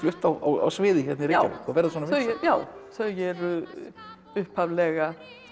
á sviði hérna í Reykjavík og verða svona vinsæl já þau eru upphaflega